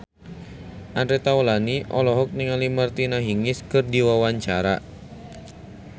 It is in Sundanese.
Andre Taulany olohok ningali Martina Hingis keur diwawancara